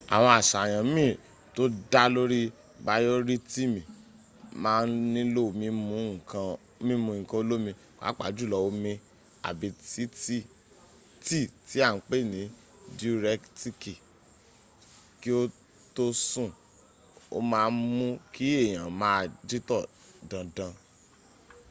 àwọn àṣàyàn mín tó dá lóri bayoritimi ma n nílo mimu nkan olomi pápá jùlọ omi àbi tí tí a n pè ní diuretiki ki o tó sùn o ma n mú kí èyàn maa jítọ̀ dandandan